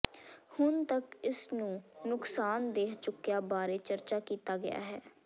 ਹੁਣ ਤੱਕ ਇਸ ਨੂੰ ਨੁਕਸਾਨਦੇਹ ਚੁੱਕਿਆ ਬਾਰੇ ਚਰਚਾ ਕੀਤਾ ਗਿਆ ਹੈ